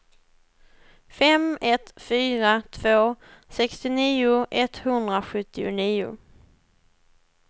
fem ett fyra två sextionio etthundrasjuttionio